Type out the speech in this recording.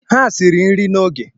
Ha siri nri n’oge